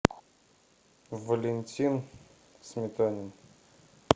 валентин сметанин